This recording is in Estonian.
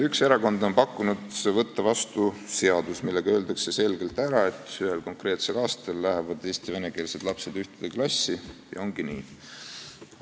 Üks erakond on pakkunud, et tuleks võtta vastu seadus, millega öeldakse selgelt ära, et ühel konkreetsel aastal lähevad eesti- ja venekeelsed lapsed ühte klassi ja ongi nii.